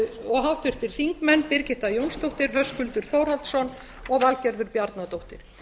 og háttvirtir þingmenn birgitta jónsdóttir höskuldur þórhallsson og valgerður bjarnadóttir